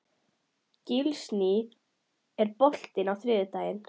Gíslný, er bolti á þriðjudaginn?